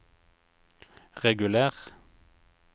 reguler